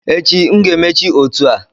Echi m ga-emechi otu a